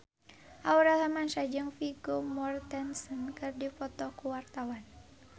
Aurel Hermansyah jeung Vigo Mortensen keur dipoto ku wartawan